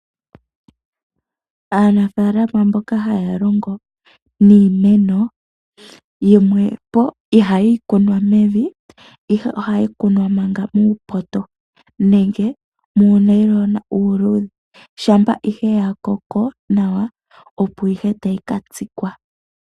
Aanafalama mboka haya longo niimeno yimwepo ihayi kunwa mevi ihe ohayi kunwa manga muupoto nenge muunayilona uuludhe shampa ihe yakoko nawa opo ihe tayi ka tsikwa.